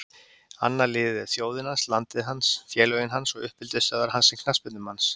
Annað liðið er þjóðin hans, landið hans, félögin hans og uppeldisstöðvar hans sem knattspyrnumanns.